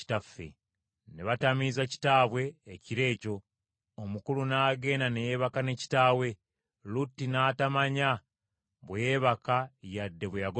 Ne batamiiza kitaabwe ekiro ekyo, omukulu n’agenda ne yeebaka ne kitaawe, Lutti n’atamanya bwe yeebaka yadde bwe yagolokoka.